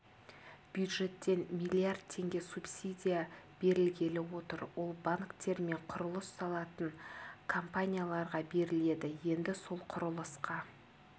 бюджеттен миллиард теңге субсидия берілгелі отыр ол банктер мен құрылыс салатын компанияларға беріледі енді сол құрылысқа